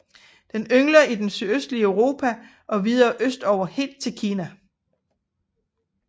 Den yngler i det sydøstlige Europa og videre østover helt til Kina